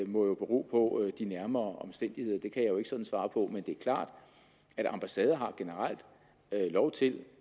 må jo bero på de nærmere omstændigheder det kan jeg ikke sådan svare på men det er klart at ambassader har generelt lov til